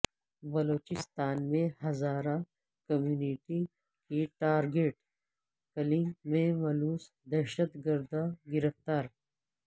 بلوچستان میں ہزارہ کمیونٹی کی target killing میں ملوث دہشت گرد گرفتار